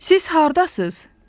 Siz hardasız?